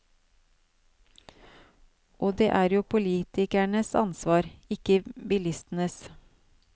Og det er jo politikernes ansvar, ikke bilistenes.